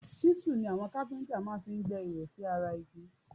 ṣísù ni àwọn kápíntà máa fi ń gbẹ́ ihò sí ara igi